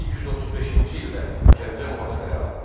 1235-ci ildə Gəncə mühasirəyə alındı.